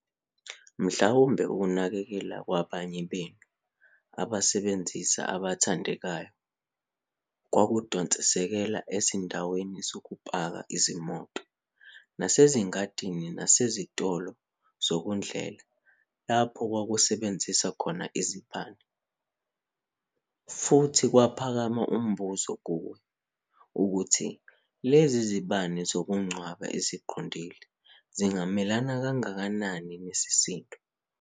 Mhlawumbe ukunakekela kwabanye benu abasebenzisi abathandekayo kwakudonsekela ezindaweni zokupaka izimoto nasezingadini nasezitolo zokudlela lapho kwakusebenza khona izibani. Futhi kwaphakama umbuzo kuwe ukuthi lezi zibani zokungcwaba eziqondile zingamelana kangakanani nesisindo?